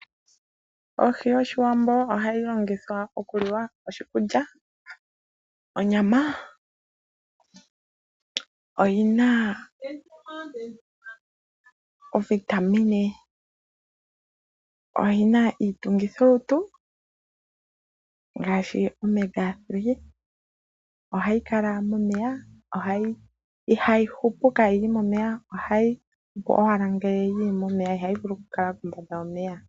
Ohi yOshiwambo ohayi longithwa okuliwa, oshikulya, onyama. Oyi na oovitamine, oyi na iitungithilutu ngaashi omega 3. Ohayi kala momeya. Ihayi hupu kaayi li momeya. Ohayi hupu owala ngele yi li momeya, ihayi vulu okukala kombanda yomeya.